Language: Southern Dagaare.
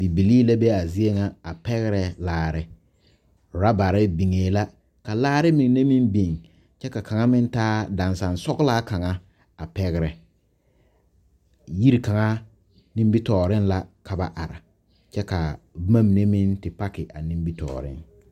Βibilii la be a zie ŋa a pɛgrɛ laare orɔbare biŋe la ka laare mine meŋ biŋ kyɛ ka kaŋa meŋ taa dansansɔglaa kaŋa a pɛgrɛ yiri kaŋa nimitɔɔreŋ la ka ba are kyɛ ka boma mine meŋ te paki a nimitɔɔreŋ.